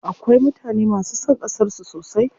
Akwai mutane masu son ƙasar su sosai.